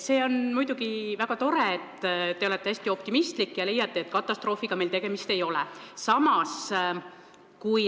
See on muidugi väga tore, et te olete hästi optimistlik ja leiate, et katastroofiga tegemist ei ole.